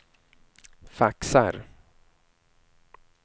faxar